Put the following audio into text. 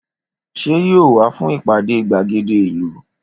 Ṣé yóò wá fún ìpàdé gbàgéde ìlú?